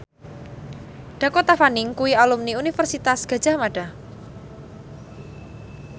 Dakota Fanning kuwi alumni Universitas Gadjah Mada